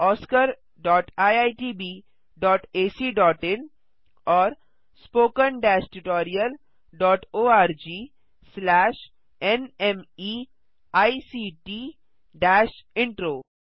oscariitbacइन और spoken tutorialorgnmeict intro